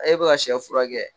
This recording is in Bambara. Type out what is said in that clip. e bɛ ka sɛ furakɛ